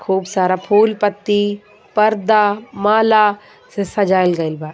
खूब सारा फूल पत्ती पर्दा माला से सजाइल गईल बा.